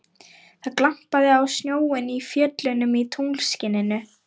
Það glampaði á snjóinn í fjöllunum í tunglskininu.